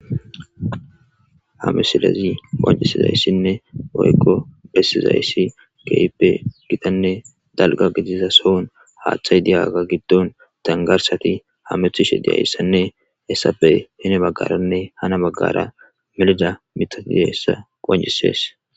Ha misilezi qoncisizayssinne oykko bessizayyssi geippe gitanne dalga gidiza sohon haaththay diyaga giddon dangarsati hamethishe diyaissanne hessappe hini maggaranne hana maggara milida mitatie hessa qoncisees.